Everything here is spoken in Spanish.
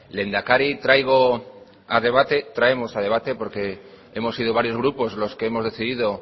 lehendakari traemos a debate porque hemos sido varios grupos los que hemos decidido